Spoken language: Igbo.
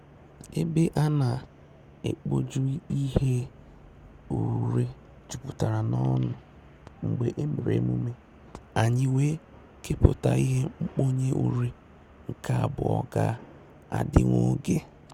Ébè á nà-ékpójù ìhè úrè jùpùtàrà n’ọ́nụ́ mgbè èmèrè èmùmè, ànyị́ wèé kèpụ́tà ìhè nkpónyé úrè nke àbụọ́ gà-àdị́ nwògè.